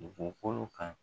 U bɔkolo kan